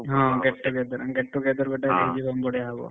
ହଁ get together get together ଗୋଟେ ହେଇଯିବ ବଢିଆ ହବ।